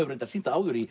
sýnt það áður í